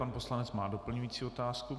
Pan poslanec má doplňující otázku.